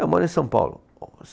Eu moro em São Paulo. Ó